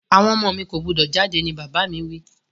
Àwon ọmọ mi ko gbúdọ̀ jáde ni bàbà mi wi